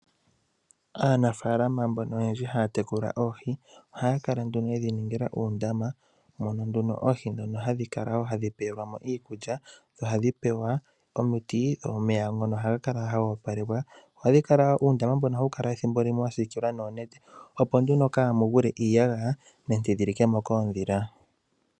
Aanafaalama mbono oyendji ha ya tekula oohi, ohaya kala nduno ye dhi ningila uundama mono nduno oohi ndhono hadhi kala tadhi pewelwa mo iikulya noha dhi pewa omiti. Omeya ngono oha ga opalekwa. Uundama mbono ethimbo limwe oha wu kala wa siikilwa noonete opo nduno kaa mu gwile iiyagaya nenge dhi likemo koondhila.